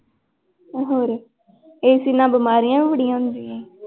ਹੋਰ AC ਨਾਲ ਬਿਮਾਰੀਆਂ ਵੀ ਬੜੀਆਂ ਹੁੰਦੀਆਂ ਹੈ।